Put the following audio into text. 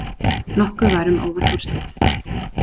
Nokkuð var um óvænt úrslit